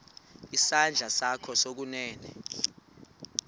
isandla sakho sokunene